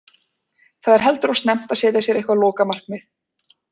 Það er heldur of snemmt að setja sér eitthvað lokamarkið.